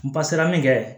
N pasera min kɛ